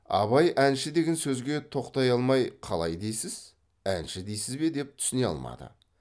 абай әнші деген сөзге тоқтай алмай қалай дейсіз әнші дейсіз бе деп түсіне алмады